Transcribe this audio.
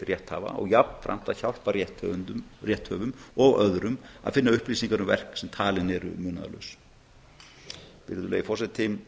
rétthafa og jafnframt að hjálpa rétthöfum og öðrum að finna upplýsingar um verk sem talin eru munaðarlaus virðulegi forseti